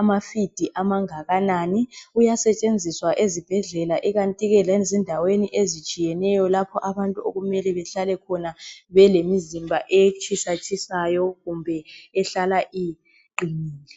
amafidi amangakanani. Uyasetshenziswa ezibhedlela ikanti ke lezindawo ezitshiyeneyo lapho abantu okumele bahlale khona belemizimba etshisatshisayo kumbe ehlala iqinile.